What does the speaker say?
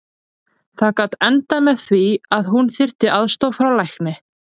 Það gat endað með því að hún þyrfti aðstoð frá lækni.